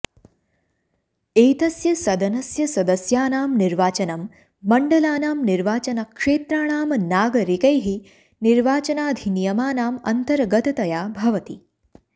एतस्य सदनस्य सदस्यानां निर्वाचनं मण्डलानां निर्वाचनक्षेत्राणां नागरिकैः निर्वाचनाधिनियमानां अन्तर्गततया भवति